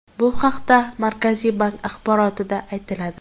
Bu haqda Markaziy bank axborotida aytiladi .